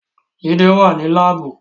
Jide wà ní Láàbù